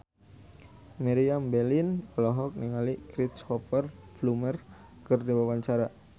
Meriam Bellina olohok ningali Cristhoper Plumer keur diwawancara